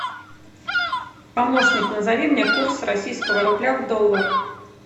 помощник назови мне курс российского рубля в доллар